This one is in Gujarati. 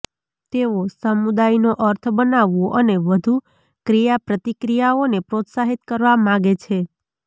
તેઓ સમુદાયનો અર્થ બનાવવો અને વધુ ક્રિયાપ્રતિક્રિયાઓને પ્રોત્સાહિત કરવા માગે છે